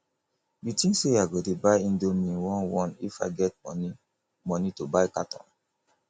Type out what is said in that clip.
you think say i go dey buy indomie one one if i get money money to buy carton